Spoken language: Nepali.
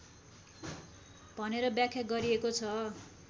भनेर व्याख्या गरिएको छ